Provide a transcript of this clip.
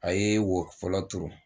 A ye wo fɔlɔ tun